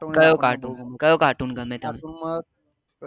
કયો કાર્ટૂન કયો કાર્ટૂન ગમે તમે